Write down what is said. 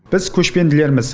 біз көшпенділерміз